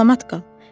Salamat qal.